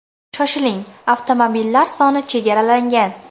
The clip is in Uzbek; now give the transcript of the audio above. Shoshiling avtomobillar soni chegaralangan.